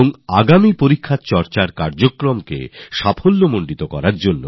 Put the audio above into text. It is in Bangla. আর আগামী পরীক্ষা নিয়ে আলোচনার কর্মসুচি আমরা সবাই মিলে পালন করব